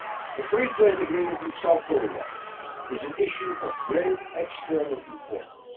The free trade agreement with South Korea is an issue of great external importance.